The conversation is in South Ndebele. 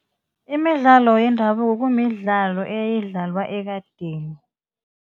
Imidlalo yendabuko kumidlalo eyayidlalwa ekadeni.